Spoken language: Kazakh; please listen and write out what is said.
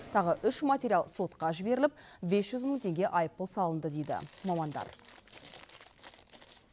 тағы үш материал сотқа жіберіліп бес жүз мың теңге айыппұл салынды дейді мамандар